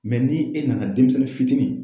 ni e nana denmisɛnnin fitinin.